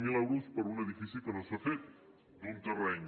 zero euros per un edifici que no s’ha fet d’un terreny